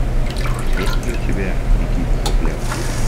есть ли у тебя беги без оглядки